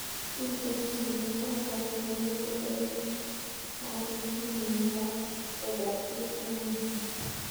Miten chiet ab garishek newoo en i fifteen en las vegas yuun en inguni